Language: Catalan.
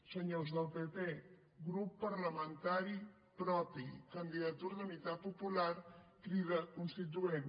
senyors del pp grup parlamentari propi candidatura d’unitat popular crida constituent